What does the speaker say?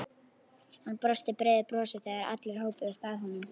Hann brosti breiðu brosi þegar allir hópuðust að honum.